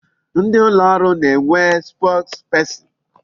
Ndị ụlọ ọrụ na-enwe spokesperson.